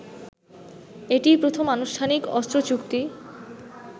এটিই প্রথম আনুষ্ঠানিক অস্ত্রচুক্তি